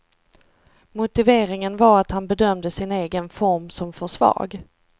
Motiveringen var att han bedömde sin egen form som för svag.